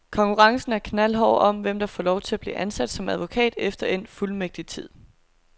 Konkurrencen er knaldhård om, hvem der får lov at blive ansat som advokat efter endt fuldmægtigtid.